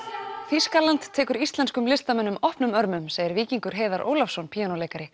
Þýskaland tekur íslenskum listamönnum opnum örmum segir Víkingur Heiðar Ólafsson píanóleikari